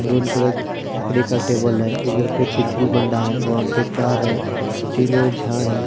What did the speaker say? Brown colour लकड़ी का table है वहां पर कार है तीनो झाड है।